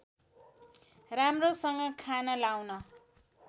राम्रोसँग खान लाउन